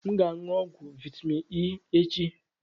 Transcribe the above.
M ga-aṅụ ọgwụ vitamin E echi